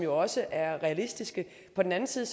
også er realistiske på den anden side